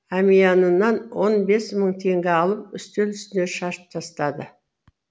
әмиянынан он бес мың теңге алып үстел үстіне шашып тастады